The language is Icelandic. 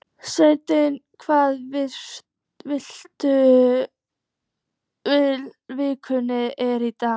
Snekkja, hvaða vikudagur er í dag?